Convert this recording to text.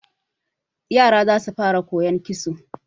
Yara za su fara koyon kitso.